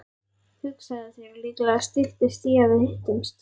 Hugsaðu þér, líklega styttist í að við hittumst.